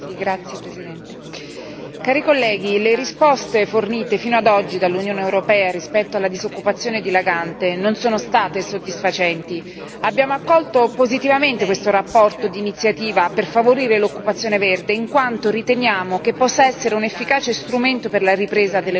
Signor Presidente, onorevoli colleghi, le risposte fornite fino ad oggi dall'Unione europea rispetto alla disoccupazione dilagante non sono state soddisfacenti. Abbiamo accolto positivamente questa relazione d'iniziativa per favorire l'occupazione verde, in quanto riteniamo che possa essere un efficace strumento per la ripresa dell'economia in Europa.